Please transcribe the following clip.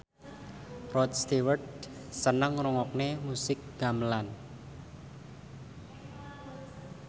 Rod Stewart seneng ngrungokne musik gamelan